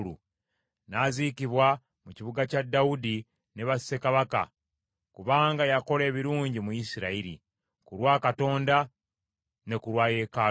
N’aziikibwa mu kibuga kya Dawudi ne bassekabaka, kubanga yakola ebirungi mu Isirayiri, ku lwa Katonda ne ku lwa yeekaalu ye.